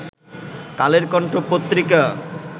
কালের কন্ঠ পত্রিকা